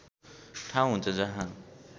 ठाउँ हुन्छ जहाँ